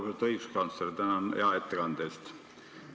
Lugupeetud õiguskantsler, tänan hea ettekande eest!